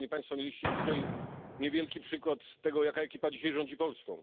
Mieliście dzisiaj niewielki przykład tego, jaka ekipa dzisiaj rządzi Polską.